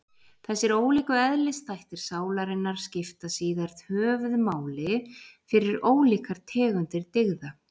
Þessir ólíku eðlisþættir sálarinnar skipta síðar höfuðmáli fyrir ólíkar tegundir dygða.